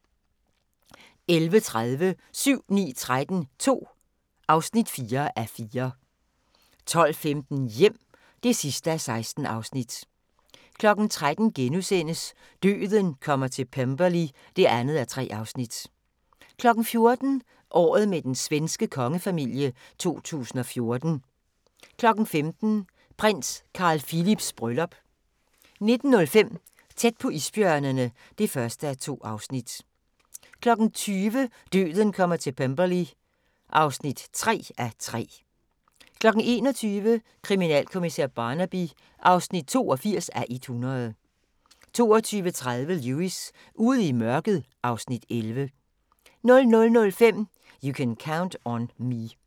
11:30: 7-9-13 II (4:4) 12:15: Hjem (16:16) 13:00: Døden kommer til Pemberley (2:3)* 14:00: Året med den svenske kongefamilile 2014 15:00: Prins Carl Philips bryllup 19:05: Tæt på isbjørnene (1:2) 20:00: Døden kommer til Pemberley (3:3) 21:00: Kriminalkommissær Barnaby (82:100) 22:30: Lewis: Ude i mørket (Afs. 11) 00:05: You Can Count on Me